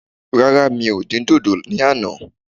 Rárá, mi ò dín dòdò ní àná